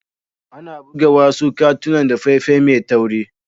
Ana buga wasu katunan da fefa Mai tawri.